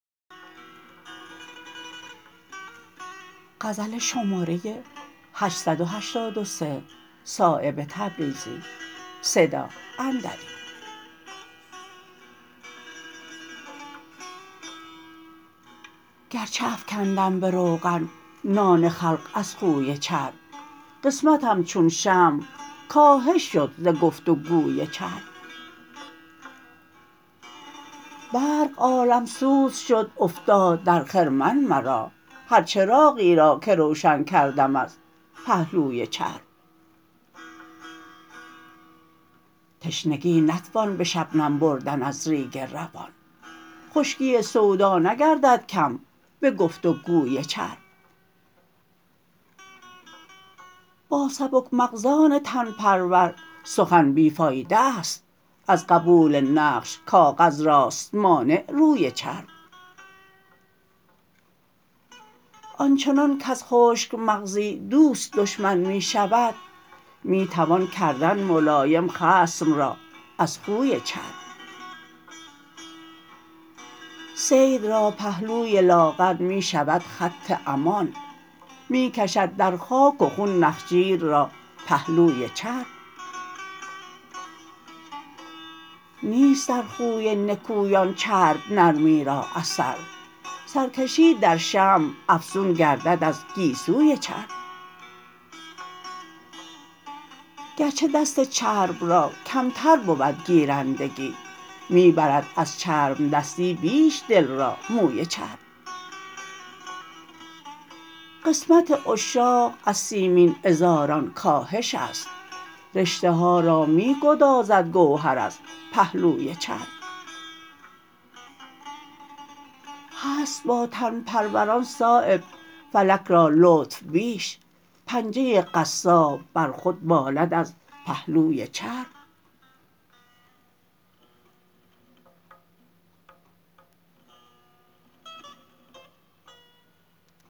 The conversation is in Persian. گرچه افکندم به روغن نان خلق از خوی چرب قسمتم چون شمع کاهش شد ز گفت و گوی چرب برق عالمسوز شد افتاد در خرمن مرا هر چراغی را که روشن کردم از پهلوی چرب تشنگی نتوان به شبنم بردن از ریگ روان خشکی سودا نگردد کم به گفت و گوی چرب با سبک مغزان تن پرور سخن بی فایده است از قبول نقش کاغذ راست مانع روی چرب آنچنان کز خشک مغزی دوست دشمن می شود می توان کردن ملایم خصم را از خوی چرب صید را پهلوی لاغر می شود خط امان می کشد در خاک و خون نخجیر را پهلوی چرب نیست در خوی نکویان چرب نرمی را اثر سرکشی در شمع افزون گردد از گیسوی چرب گرچه دست چرب را کمتر بود گیرندگی می برد از چربدستی بیش دل را موی چرب قسمت عشاق از سیمین عذاران کاهش است رشته ها را می گدازد گوهر از پهلوی چرب هست با تن پروران صایب فلک را لطف بیش پنجه قصاب بر خود بالد از پهلوی چرب